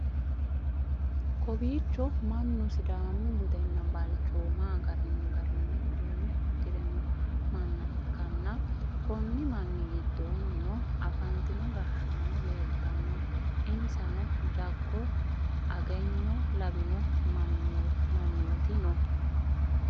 kowiicho mannu sidaamu budenna balchooma agadhino garinni uduunne uddi're no manna ikkanna, konni manni giddoonnino afantino gashshaano leeltanno, insano jago agenyo lawino mannooti no.